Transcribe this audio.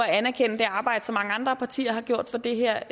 anerkende det arbejde som mange andre partier har gjort for det her